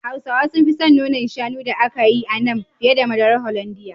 Hausawa sun fi son nonan shanu da aka yi a nan, fiye da madarar Holandiya.